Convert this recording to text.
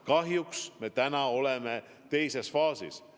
Kahjuks me täna oleme teises faasis.